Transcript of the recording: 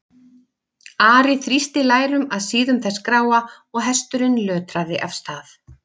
Ari þrýsti lærum að síðum þess gráa og hesturinn lötraði af stað.